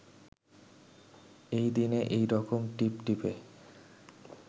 এই দিনে এই রকম টিপটিপে